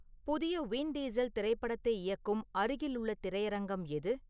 புதிய Vin Diesel திரைப்படத்தை இயக்கும் அருகிலுள்ள திரையரங்கம் எது